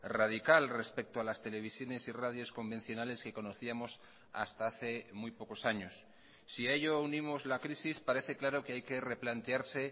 radical respecto a las televisiones y radios convencionales que conocíamos hasta hace muy pocos años si a ello unimos la crisis parece claro que hay que replantearse